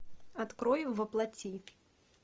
открой во плоти